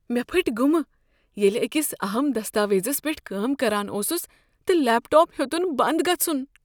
مےٚ پھٹۍ گُمہ ییٚلہ أکس اہم دستاویزس پیٹھ کٲم کران اوسس تہٕ لیپ ٹاپ ہیوٚتُن بند گژھُن۔